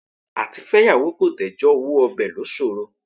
Àtifẹ́yàwó kò tẹ́jọ́ owó ọbẹ̀ ló ṣòro.